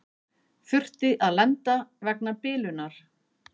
Þurfti að lenda vegna bilunar